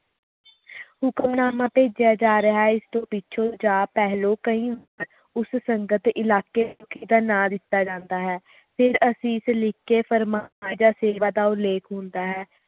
ਹੁਕਮਨਾਮਾ ਭੇਜੀਆਂ ਜਾ ਰਿਹਾ ਹੈ ਇਸ ਤੋਂ ਪਿੱਛੋਂ ਜਾ ਪਹਿਲੋਂ ਕਈ ਉਸ ਸੰਗਤ ਇਲਾਕੇ ਦਾ ਨਾ ਦਿੱਤਾ ਜਾਂਦਾ ਹੈ ਫਰ ਅਸੀਸ ਲਿਖ ਕੇ ਫਰਮਾਨ ਜਾ ਸੇਵਾ ਦਾ ਉਲੇਖ ਹੁੰਦਾ ਹੈ